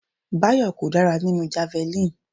Bayo kò dára nínú javelin.